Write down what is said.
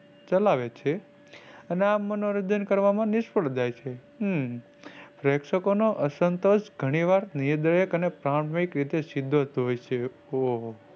ચલાવે છે અને આ મનોરંજન કરવામાં નિષ્ફળ જાય છે. અમ પ્પ્રેક્ષકોનું અસંતોષ ગનિવાર નિર્દયક અને પ્રાણલાય રીતે સિદ્દ્ક હોય છે. ઉહ